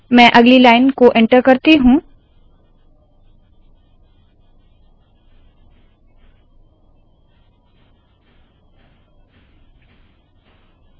मैं अगली लाइन को एन्टर करती हूँ